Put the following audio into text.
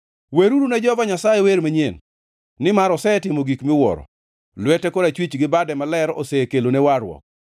Weruru ne Jehova Nyasaye wer manyien, nimar osetimo gik miwuoro; lwete korachwich gi bade maler osekelone warruok.